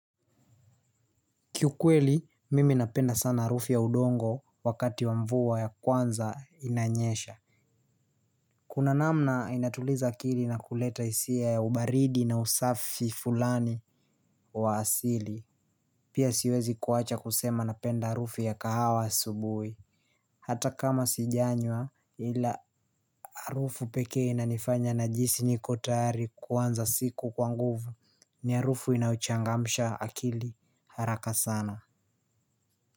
Kiukweli, mimi napenda sana harufu ya udongo wakati wa mvua ya kwanza inanyesha. Kuna namna inatuliza akili na kuleta hisia ya ubaridi na usafi fulani wa asili. Pia siwezi kuwacha kusema napenda harufu ya kahawa asubuhi. Hata kama sijanywa ila harufu pekee inanifanya najihisi niko tayari kuanza siku kwa nguvu ni harufu inayochangamsha akili haraka sana.